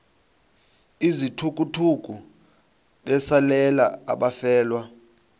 izithukuthuku besalela abafelwa